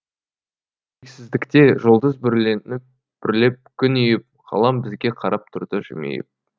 шексіздікте жұлдыз бүрлеп күн иіп ғалам бізге қарап тұрды жымиып